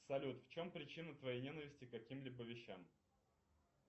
салют в чем причина твоей ненависти к каким либо вещам